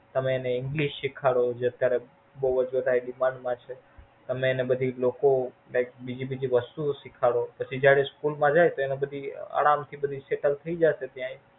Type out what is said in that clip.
તમે એને English શીખવાડો બોવ જોતા એ Demand માં છે તમે એને લોકો Like બીજી બધી વસ્તુઓ શીખવાડો પછી જયારે School માં જાય પછી આરામ થી Settle થઇ જાશે ત્યાં.